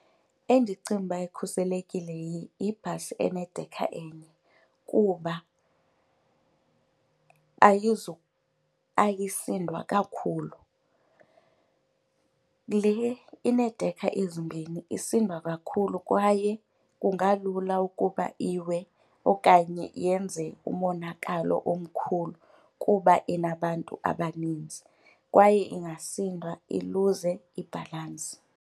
Endicinga uba ikhuselekile yibhasi enedekha enye kuba ayisindwa kakhulu. Le ineedekha ezimbini isindwa kakhulu kwaye kungalula ukuba iwe okanye yenze umonakalo omkhulu kuba inabantu abaninzi, kwaye ingasindwa iluze ibhalantsi.